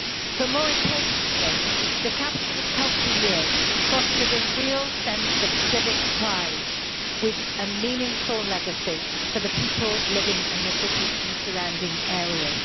But, more importantly, the capital of culture years fostered a real sense of civic pride with a meaningful legacy for the people living in the city and surrounding areas.